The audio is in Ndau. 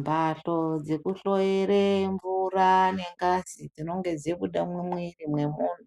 Mbatso dzeku hloyere mvura ne ngazi dzinonge dzabuda mu mwiri me munhu